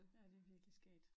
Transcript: Ja det virkelig skægt